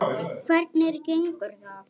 Hvernig gengur það?